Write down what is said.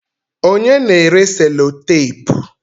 Onye na-ere selotapu?